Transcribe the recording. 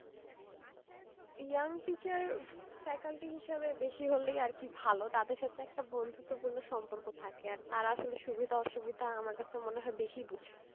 young teacher faculty হিসেবে বেশি হলেই আর কি ভালো তাদের সাথে একটা বন্ধুত্ব পূর্ণ সম্পর্ক থাকে আর তারা আসলে সুবিধা অসুবিধা আমার কাছে মনে হয়ে বেশি বুঝে